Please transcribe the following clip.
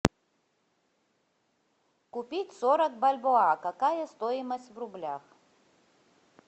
купить сорок бальбоа какая стоимость в рублях